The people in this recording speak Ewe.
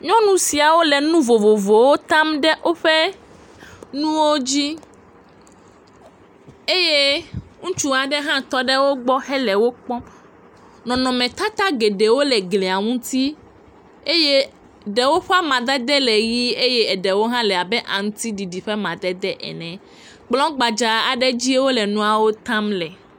Nyɔnu siawo le nu vovovowo tam ɖe woƒe nuwo dzi eye ŋutsu aɖe hã tɔ ɖe wo gbɔ le wo kpɔm. Nɔnɔmetata geɖewo le glia ŋuti eye ɖewo ƒe amadede le ʋi eye ɖewo hã le abe aŋutiɖiɖi ƒe amadede ene.